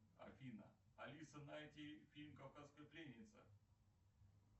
афина алиса найти фильм кавказская пленница